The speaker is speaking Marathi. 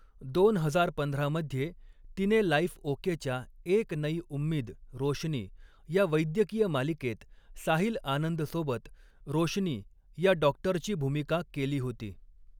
दोन हजार पंधरा मध्ये, तिने लाइफ ओकेच्या एक नई उम्मीद रोशनी या वैद्यकीय मालिकेत साहिल आनंद सोबत रोशनी या डॉक्टरची भूमिका केली होती.